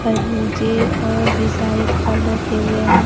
खरबूजे और भी सारे फल रखे हुए हैं।